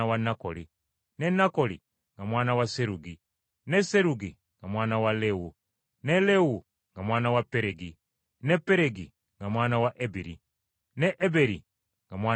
ne Nakoli nga mwana wa Serugi, ne Serugi nga mwana wa Lewu, ne Lewu nga mwana wa Peregi, ne Peregi nga mwana wa Eberi, ne Eberi nga mwana wa Seera,